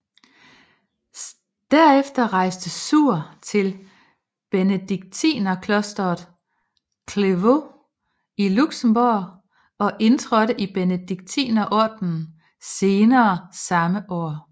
Derefter rejste Suhr til benediktinerklosteret Clervaux i Luxembourg og indtrådte i Benediktinerordenen senere samme år